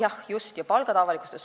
Jah, just, ja palgad on avalikustatud.